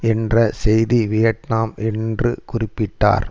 என்ற செய்தி வியட்நாம் என்று குறிப்பிட்டார்